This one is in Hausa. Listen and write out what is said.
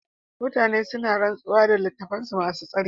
Mutane suna rantsuwa da littattafansu masu tsarki.